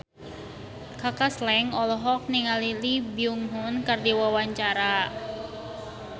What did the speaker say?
Kaka Slank olohok ningali Lee Byung Hun keur diwawancara